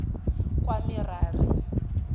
kwamerari